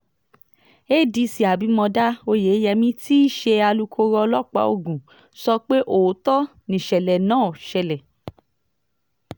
adc abimodá oyeyèmí tí í ṣe alūkkoro ọlọ́pàá ogun sọ pé òótọ́ nìṣẹ̀lẹ̀ náà ṣẹlẹ̀